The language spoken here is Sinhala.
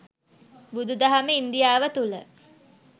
බුදුදහම ඉන්දියාව තුළ